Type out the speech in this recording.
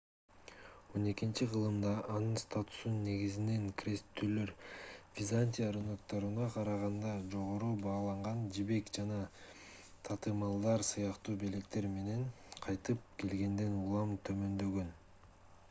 xii—кылымда анын статусу негизинен кресттүүлөр византия рынокторуна караганда жогору бааланган жибек жана татымалдар сыяктуу белектер менен кайтып келгенден улам төмөндөгөн